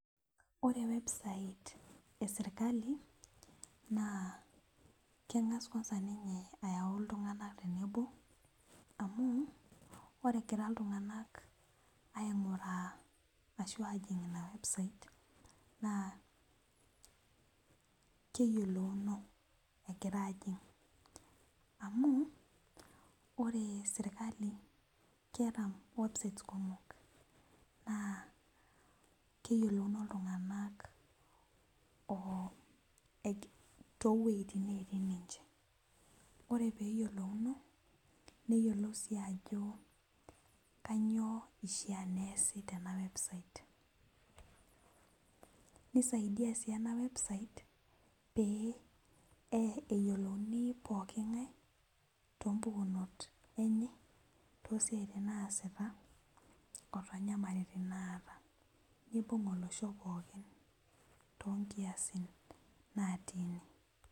Ore website esirkali naa keng'as kwanza ninye aayau iltung'anak tenebo amu ore egira iltung'anak aaajing ina website naa keyiolouno egira aaajing amu keyiolouno naa keyiolouno inltung'anak pookin ore peeyiolounu neyiolou sii ajo kanyioo eishiaa neesi tena website seisaaidia sii ena website pee eyiolouni pookin ng'ae tooyiolounot enye toositin naasa neibung olosho pookin toonkiasin naatii ine